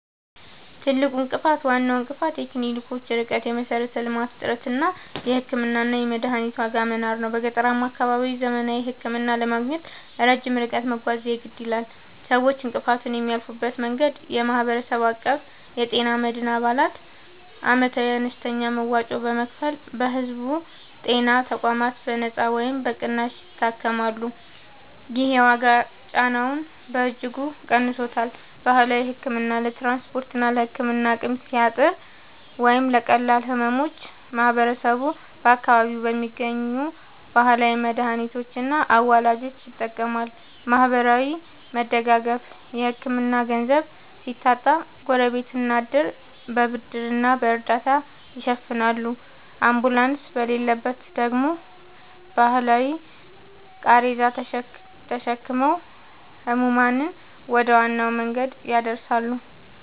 ትልቁ እንቅፋት፦ ዋናው እንቅፋት የክሊኒኮች ርቀት (የመሠረተ-ልማት እጥረት) እና የሕክምናና የመድኃኒት ዋጋ መናር ነው። በገጠራማ አካባቢዎች ዘመናዊ ሕክምና ለማግኘት ረጅም ርቀት መጓዝ የግድ ይላል። ሰዎች እንቅፋቱን የሚያልፉበት መንገድ፦ የማህበረሰብ አቀፍ የጤና መድን፦ አባላት ዓመታዊ አነስተኛ መዋጮ በመክፈል በሕዝብ ጤና ተቋማት በነጻ ወይም በቅናሽ ይታከማሉ። ይህ የዋጋ ጫናውን በእጅጉ ቀንሶታል። ባህላዊ ሕክምና፦ ለትራንስፖርትና ለሕክምና አቅም ሲያጥር ወይም ለቀላል ሕመሞች ማህበረሰቡ በአካባቢው በሚገኙ ባህላዊ መድኃኒቶችና አዋላጆች ይጠቀማል። ማህበራዊ መደጋገፍ (ዕድርና ጎረቤት)፦ የሕክምና ገንዘብ ሲታጣ ጎረቤትና ዕድር በብድርና በእርዳታ ይሸፍናሉ፤ አምቡላንስ በሌለበት ደግሞ በባህላዊ ቃሬዛ ተሸክመው ሕሙማንን ወደ ዋና መንገድ ያደርሳሉ።